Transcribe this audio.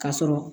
K'a sɔrɔ